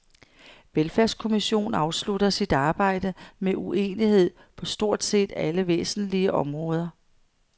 Velfærdskommission afslutter sit arbejde med uenighed på stort set alle væsentlige områder.